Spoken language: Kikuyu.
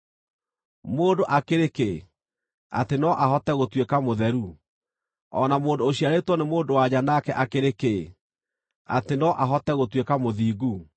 “Mũndũ akĩrĩ kĩ, atĩ no ahote gũtuĩka mũtheru, o na mũndũ ũciarĩtwo nĩ mũndũ-wa-nja nake akĩrĩ kĩĩ, atĩ no ahote gũtuĩka mũthingu?